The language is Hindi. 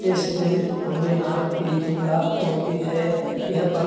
इस दिन भोलेनाथ की पूजा होती है। यह पर्व --